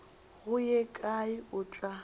go ye kae o tla